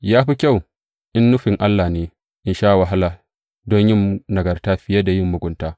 Ya fi kyau, in nufin Allah ne, a sha wahala don yin nagarta fiye da yin mugunta.